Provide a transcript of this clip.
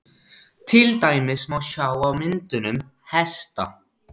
til dæmis má sjá á myndunum hesta